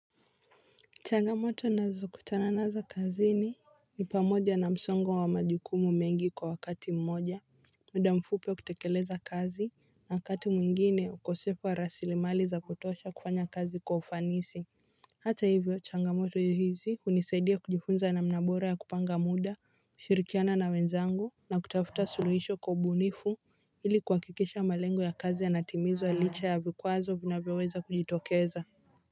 Changamoto nazokutana nazo kazini ni pamoja na msongo wa majukumu mengi kwa wakati mmoja muda mfupi wa kutekeleza kazi na wakati mwingine ukosefu wa rasilimali za kutosha kufanya kazi kwa ufanisi hata hivyo changamoto hizi hunisaidia kujifunza namna bora ya kupanga muda kushirikiana na wenzangu na kutafuta suluhisho kwa ubunifu ili kuhakikisha malengo ya kazi yanatimizwa licha ya vikwazo vinavyoweza kujitokeza.